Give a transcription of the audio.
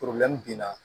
binna